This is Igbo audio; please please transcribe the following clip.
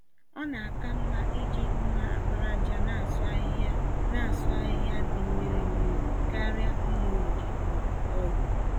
Ọ na-aka mmá iji mma àkpàràjà nasụ ahihia nasụ ahihia dị mmiri mmiri, karịa mma-ògè m'ọbụ ọ̀gụ̀